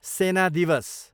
सेना दिवस